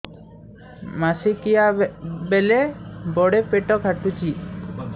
ମାସିକିଆ ବେଳେ ବଡେ ପେଟ କାଟୁଚି